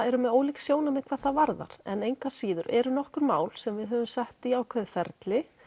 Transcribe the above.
með ólík sjónarmið hvað það varðar en engu að síður eru nokkur mál sem við höfum sett í ákveðin ferli